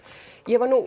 ég var nú